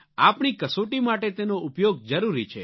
આપણી કસોટી માટે તેનો ઉપયોગ જરૂરી છે